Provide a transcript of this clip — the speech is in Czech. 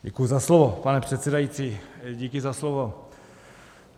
Děkuji za slovo, pane předsedající, díky za slovo.